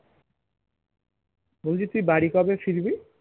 বলছি তুই বাড়ি কবে ফিরবি